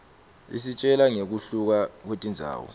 isitjela ngekuhluka kwetindzawo